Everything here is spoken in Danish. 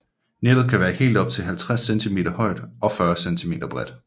Nettet kan være helt op til 50 cm højt og 40 cm bredt